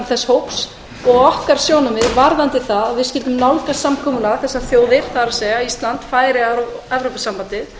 þess hóps og okkar sjónarmið voru uppi um það að við skyldum nálgast samkomulag þessar þjóðir það er ísland færeyjar og evrópusambandið